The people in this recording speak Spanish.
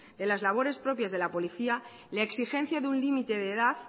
de las labores propias de la policía la exigencia de un límite de edad